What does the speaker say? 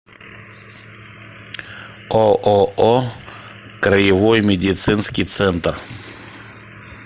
ооо краевой медицинский центр